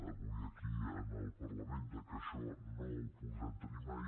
avui aquí al parlament que això no ho podrem tenir mai